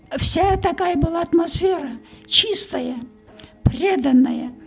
вся такая была атмосфера чистая преданная